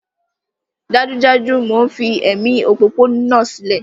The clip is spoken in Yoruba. Dájúdájú! Mò ń fi ẹ̀mí òpópónà sílẹ̀